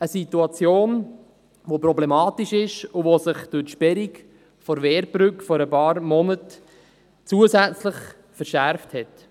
Eine Situation, die problematisch ist und sich durch die Sperrung der Wehrbrücke vor ein paar Monaten zusätzlich verschärft hat.